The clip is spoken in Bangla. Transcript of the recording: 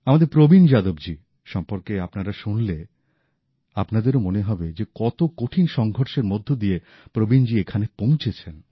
আমাদের প্রবীণ যাদবজী সম্পর্কে আপনারা শুনলে আপনাদেরও মনে হবে যে কত কঠিন সঙ্ঘর্ষের মধ্যে দিয়ে প্রবীণজী এখানে পৌঁছেছেন